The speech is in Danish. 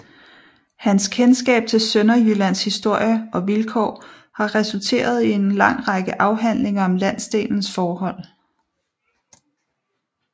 Hans kendskab til Sønderjyllands historie og vilkår har resulteret i en lang række afhandlinger om landsdelens forhold